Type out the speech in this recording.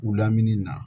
U lamini na